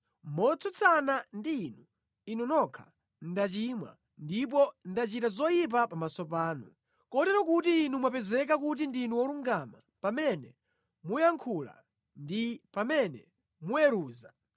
Motsutsana ndi Inu, Inu nokha, ndachimwa ndipo ndachita zoyipa pamaso panu, Kotero kuti inu mwapezeka kuti ndinu wolungama pamene muyankhula ndi pamene muweruza.